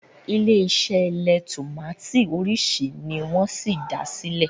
ilé ise leè tomati orisi ni wón sí dá silẹ